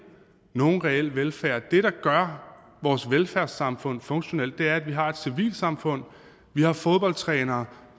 nogen reel velfærd det der gør vores velfærdssamfund funktionelt er at vi har et civilsamfund at vi har fodboldtrænere